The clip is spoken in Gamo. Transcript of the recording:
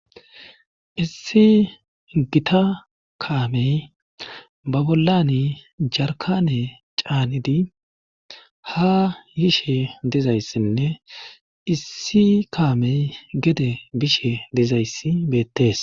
issi gita kaamey ba bollani jarkane caanidi ha yishe dezayssinne issi kaamey gede bishe dizayssi beettes